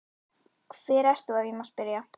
Hver ert þú ef ég má spyrja?